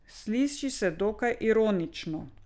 Sliši se dokaj ironično.